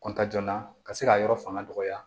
kɔntanna ka se ka yɔrɔ fanga dɔgɔya